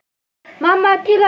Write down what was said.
Mamma til að sjúga.